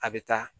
A bɛ taa